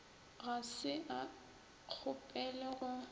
ga se a kgopele go